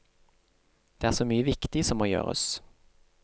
Det er så mye viktig som må gjøres.